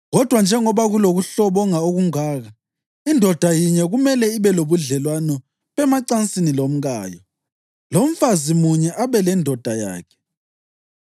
Kodwa njengoba kulokuhlobonga okungaka, indoda yinye kumele ibe lobudlelwano bemacansini lomkayo, lomfazi munye abe lendoda yakhe.